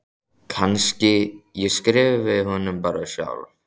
Kannski ég skrifi honum bara sjálf.